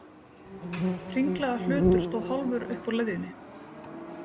Hringlaga hlutur stóð hálfur upp úr leðjunni.